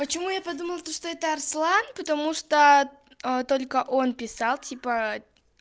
почему я подумала то что это арслан потому что только он писал типа